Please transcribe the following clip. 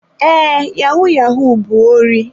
Ee, yahu-yahu bụ órí.